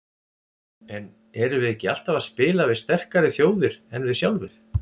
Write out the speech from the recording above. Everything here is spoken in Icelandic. En erum við ekki alltaf að spila við sterkari þjóðir en við sjálfir?